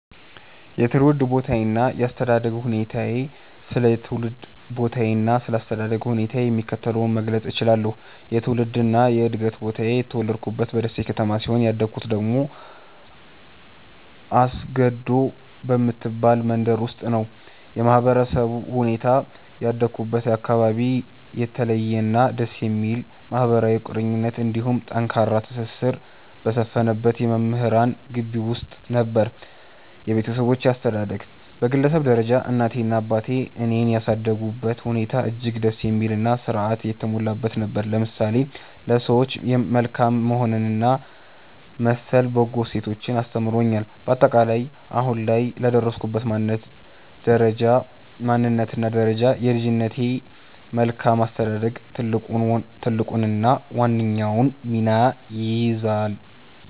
የትውልድ ቦታዬና የአስተዳደግ ሁኔታዬ ስለ ትውልድ ቦታዬና ስለ አስተዳደግ ሁኔታዬ የሚከተለውን መግለጽ እችላለሁ፦ የትውልድና የዕድገት ቦታዬ፦ የተወለድኩት በደሴ ከተማ ሲሆን፣ ያደግኩት ደግሞ አስገዶ በምትባል መንደር ውስጥ ነው። የማህበረሰቡ ሁኔታ፦ ያደግኩበት አካባቢ የተለየና ደስ የሚል ማህበራዊ ቁርኝት እንዲሁም ጠንካራ ትስስር በሰፈነበት የመምህራን ግቢ ውስጥ ነበር። የቤተሰብ አስተዳደግ፦ በግለሰብ ደረጃ እናቴና አባቴ እኔን ያሳደጉበት ሁኔታ እጅግ ደስ የሚልና ሥርዓት የተሞላበት ነበር፤ ለምሳሌ ለሰዎች መልካም መሆንንና መሰል በጎ እሴቶችን አስተምረውኛል። ባጠቃላይ፦ አሁን ላይ ለደረስኩበት ማንነትና ደረጃ የልጅነቴ መልካም አስተዳደግ ትልቁንና ዋነኛውን ሚና ይይዛል።